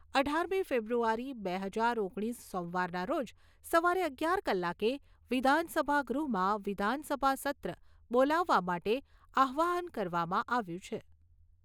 અઢારમી ફેબ્રુઆરી બે હજાર ઓગણીસ સોમવારના રોજ સવારે અગિયાર કલાકે વિધાનસભા ગૃહમાં વિધાનસભા સત્ર બોલવવા માટે આહ્વાન કરવામાં આવ્યું છે.